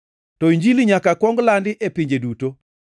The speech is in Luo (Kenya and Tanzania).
To Injili nyaka kuong landi e pinje duto.